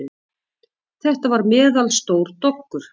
Þetta var meðalstór doggur.